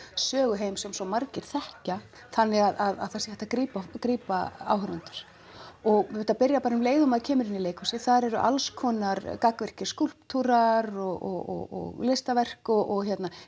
söguheim sem svo margir þekkja þannig að það sé hægt að grípa grípa áhorfendur og þetta byrjar bara um leið og maður kemur inn í leikhúsið þar eru alls konar gagnvirkir skúlptúrar og listaverk og